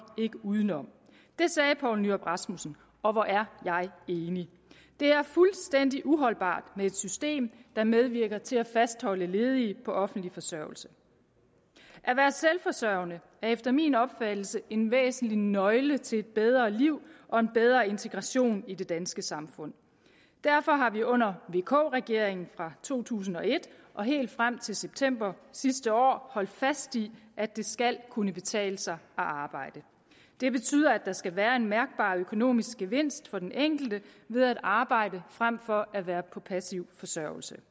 ikke udenom det sagde poul nyrup rasmussen og hvor er jeg enig det er fuldstændig uholdbart med et system der medvirker til at fastholde ledige på offentlig forsørgelse at være selvforsørgende er efter min opfattelse en væsentlig nøgle til et bedre liv og en bedre integration i det danske samfund derfor har vi under vk regeringen fra to tusind og et og helt frem til september sidste år holdt fast i at det skal kunne betale sig at arbejde det betyder at der skal være en mærkbar økonomisk gevinst for den enkelte ved at arbejde frem for at være på passiv forsørgelse